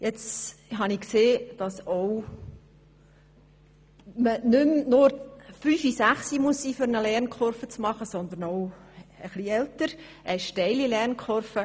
Ich habe gesehen, dass man nicht fünf oder sechs Jahre alt sein muss, um eine Lernkurve zu machen, sondern dass man auch etwas älter sein kann, um eine steile Lernkurve zu machen.